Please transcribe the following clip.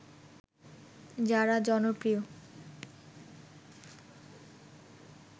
যারা জনপ্রিয়